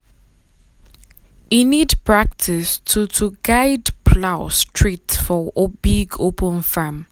e need practice to to guide plow straight for big open farm.